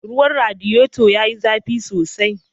Ruwan radiyeto ya yi zafi sosai.